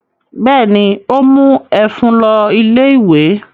Bẹ́ẹ̀ ni, ó mú ẹ̀fún lọ ilé-ìwé.